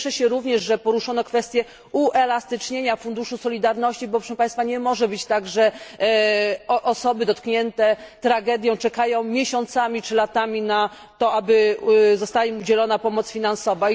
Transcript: Cieszę się również, że poruszono kwestię uelastycznienia funduszu solidarności, bo proszę państwa nie może być tak, że osoby dotknięte tragedią czekają miesiącami czy latami na to, aby została im udzielona pomoc finansowa.